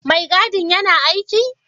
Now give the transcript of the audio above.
Mai gadin yana aiki?